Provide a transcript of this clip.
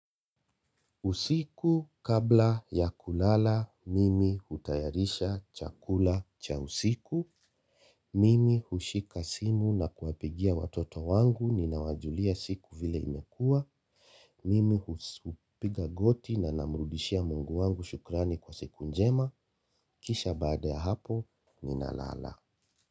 Usiku kabla ya kulala, mimi hutayarisha chakula cha usiku, mimi hushika simu na kuwapigia watoto wangu, ninawajulia siku vile imekuwa, mimi hupiga goti na namrudishia Mungu wangu shukrani kwa siku njema, kisha baada ya hapo, ninalala.